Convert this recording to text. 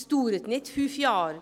Dies dauert nicht fünf Jahre;